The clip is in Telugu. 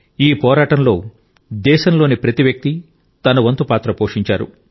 ఈ పోరాటంలో దేశంలోని ప్రతి వ్యక్తి తన వంతు పాత్ర పోషించారు